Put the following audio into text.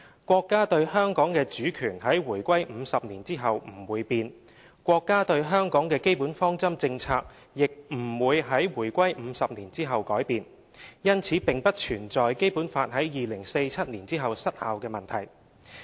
國家對香港的主權在回歸50年後不會變，國家對香港的基本方針政策亦不會在回歸50年後改變，因此並不存在《基本法》在2047年後失效的問題。